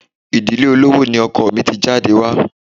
Ìdílé olówó ni ọkọ mi ti jáde wá.